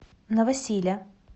новосиля